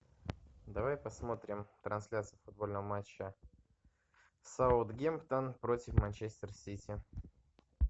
давай посмотрим трансляцию футбольного матча саутгемптон против манчестер сити